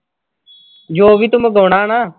ਜੋ ਵੀ ਤੋਂ ਮੰਗਵਾਉਣਾ ਨਾ।